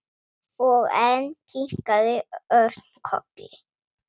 Og enn kinkaði Örn kolli.